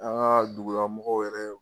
An ŋa dugulamɔgɔw yɛrɛ